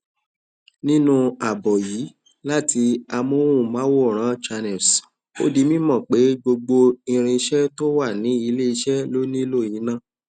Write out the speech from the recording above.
nínú àbọ yìí láti àmóhùnmáwòrán channels ó di mímọ pé gbogbo ìriṣẹ tó wà ní ilẹ iṣẹ ló nílù iná